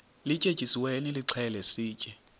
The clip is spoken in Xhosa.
lityetyisiweyo nilixhele sitye